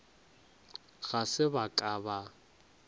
ga se ba ka ba